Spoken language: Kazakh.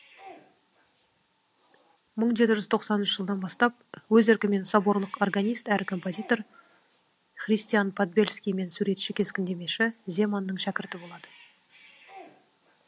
мың жеті жүз тоқсаныншы жылдан бастап өз еркімен соборлық органист әрі композитор христиан подбельский мен суретші кескіндемеші земанның шәкірті болады